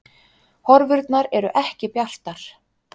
Horfurnar eru ekki bjartar